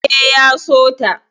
E, ya so ta.